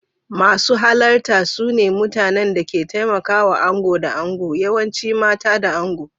Masu halarta su ne mutanen da ke taimakawa ango da ango, yawanci mata da ango.